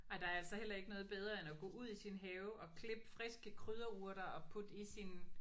Ej der er altså heller ikke noget bedre end at gå ud i sin have og klippe friske krydderurter og putte i sin